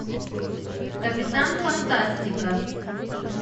капитан фантастика